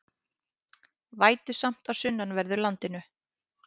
Vætusamt á sunnanverðu landinu